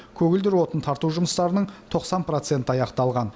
көгілдір отын тарту жұмыстарының тоқсан проценті аяқталған